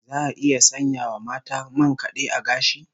Za a iya sanya wa mata man kad'e a gashi?